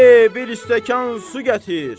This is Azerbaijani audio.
Bir stəkan su gətir.